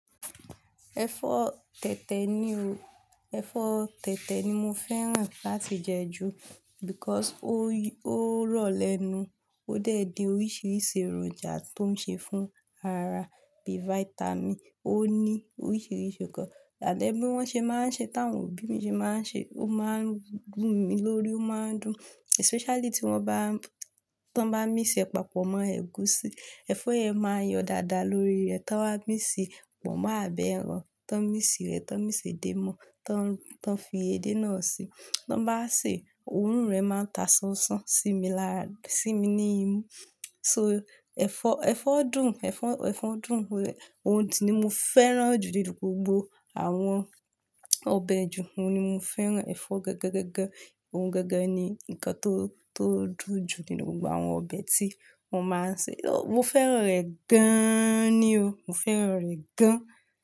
Ẹ̀fọ́ tẹ̀tẹ̀ ni o, ẹ̀fọ́ tẹ̀tẹ̀ ni mo fẹ́ràn láti jẹ ju because ó rọ̀ lẹ́nu, ó dẹ̀ di oríṣiríṣi èròjà tó ń ṣe fún aàrá bí vitamin. Ó ní oríṣiríṣi nǹkan. Ṣàdẹ́ bí wọ́n ṣe máa ń ṣe tá ń òbí mi ṣe máa ń ṣe, ó máa ń gún mi lórí, ó máa ń dùn. Especially tí wọ́n bá, tí wọ́n bá mix è papọ̀ mọ́ ẹ̀gúsí. Ẹ̀fọ́ yẹn máa yọ dáadáa lórí rẹ tí wọ́n bá míx è pọ̀mọ́ abí ẹran, tí wọ́n bá mí sè rẹ̀, tí wọ́n bá mí sè dé mọ́, tí wọ́n fi edé náà sè, tí wọ́n bá sè, òórùn rẹ̀ máa ta sánsán sí mi lára, sí mi ní imú. So ẹ̀fọ́, ẹ̀fọ́ dùn, ẹ̀fọ́, ẹ̀fọ́ dùn. Ohún ti ni mo fẹ́ràn jù nínù gbógbó àwọn ọbẹ̀ ju, òun ni mo fẹ́ràn, ẹ̀fọ́ gàngàn gàngàn. Ohun gẹ́gẹ́ ni nǹkan tó, tó dùn jù nínú gbogbo àwọn ọbẹ̀ tí wọ́n máa ń sè. Mo fẹ́ràn rẹ̀ gàn ni o, mo fẹ́ràn rẹ̀ gàn.